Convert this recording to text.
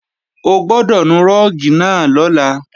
O gbọ́dọ̀ nu rúùgì náà lọ́la